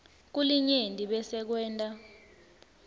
kulinyenti bese kwenta